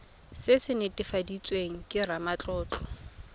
se se netefaditsweng ke ramatlotlo